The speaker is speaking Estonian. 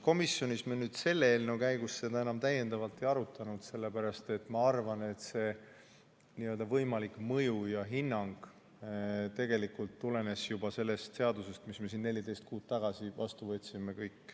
Komisjonis me selle eelnõu käigus seda enam ei arutanud, sellepärast et ma arvan, et võimalik mõju ja hinnang tegelikult tulenes sellest seadusest, mille me siin 14 kuud tagasi vastu võtsime.